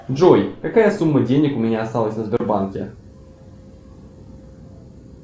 джой какая сумма денег у меня осталась на сбербанке